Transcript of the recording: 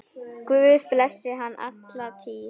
Guð blessi hann alla tíð.